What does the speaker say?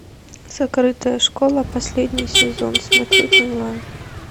закрытая школа последний сезон смотреть онлайн